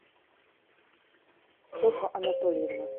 софа анатольевна